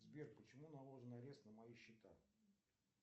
сбер почему наложен арест на мои счета